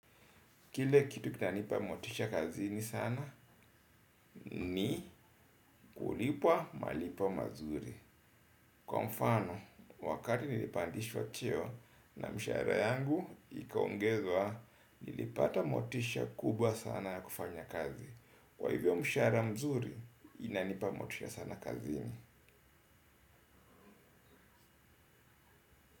Kile kitu kinanipa motisha kazini sana, ni kulipwa malipo mazuri. Kwa mfano, wakati nilipandishwa cheo na mshahara yangu, ikaongezwa nilipata motisha kubwa sana ya kufanya kazi. Kwa hivyo mshahara mzuri, inanipa motisha sana kazini.